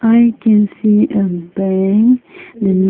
i can see a bank the nu--